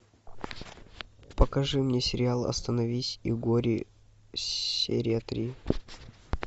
покажи мне сериал остановись и гори серия три